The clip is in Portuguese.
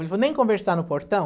Ele falou, nem conversar no portão?